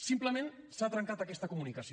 simplement s’ha trencat aquesta comunicació